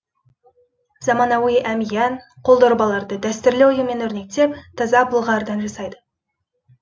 заманауи әмиян қолдорбаларды дәстүрлі оюмен өрнектеп таза былғарыдан жасайды